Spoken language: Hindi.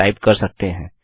टाइप कर सकते हैं